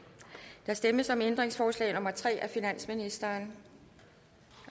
der stemmes om ændringsforslag nummer tre af finansministeren